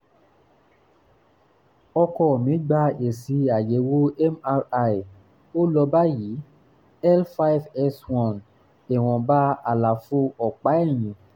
ọkọ mi gba èsì àyẹ̀wò mri ó lọ báyìí; l5 s1 ìwọ̀nba àlàfo ọ̀pá ẹ̀yìn